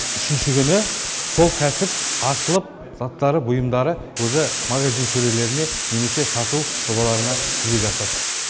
үшінші күні сол кәсіп ашылып заттары бұйымдары уже магазин сөрелеріне немесе сату жобаларына жүзеге асады